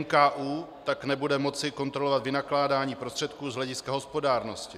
NKÚ tak nebude moci kontrolovat vynakládání prostředků z hlediska hospodárnosti.